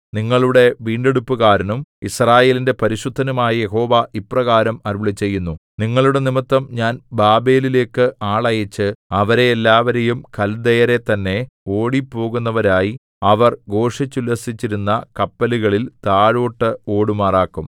നിങ്ങളുടെ വീണ്ടെടുപ്പുകാരനും യിസ്രായേലിന്റെ പരിശുദ്ധനുമായ യഹോവ ഇപ്രകാരം അരുളിച്ചെയ്യുന്നു നിങ്ങളുടെ നിമിത്തം ഞാൻ ബാബേലിലേക്ക് ആളയച്ച് അവരെ എല്ലാവരെയും കൽദയരെ തന്നെ ഓടിപ്പോകുന്നവരായി അവർ ഘോഷിച്ചുല്ലസിച്ചിരുന്ന കപ്പലുകളിൽ താഴോട്ട് ഓടുമാറാക്കും